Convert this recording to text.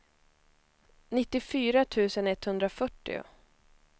nittiofyra tusen etthundrafyrtio